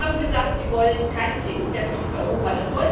Sie haben gesagt, Sie wollen keinen Flickenteppich in Europa.